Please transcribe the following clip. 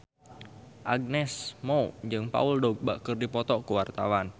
Agnes Mo jeung Paul Dogba keur dipoto ku wartawan